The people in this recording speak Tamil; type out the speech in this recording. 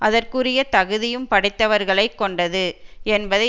அதற்குரிய தகுதியும் படைத்தவர்களை கொண்டது என்பதை